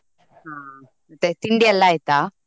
ಹ್ಮ್ ಮತ್ತೆ ತಿಂಡಿಯೆಲ್ಲ ಆಯ್ತಾ?